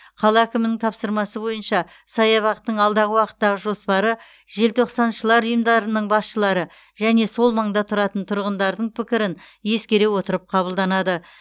қала әкімінің тапсырмасы бойынша саябақтың алдағы уақыттағы жоспары желтоқсаншылар ұйымдарының басшылары және сол маңда тұратын тұрғындардың пікірін ескере отырып қабылданады